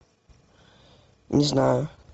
не знаю